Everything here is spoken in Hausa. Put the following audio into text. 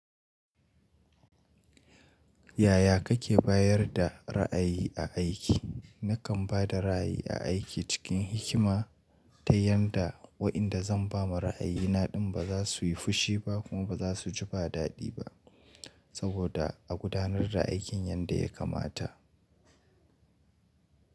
Yaya kake bayar da ra'ayi a aiki? Nakan ba da ra'ayi a aiki cikin hikima ta yanda wa'inda zan ba ma ra'ayina din ba za su yi fushi ba kuma ba za su ji ba dadi ba saboda a gudanar da aikin yadda ya kamata.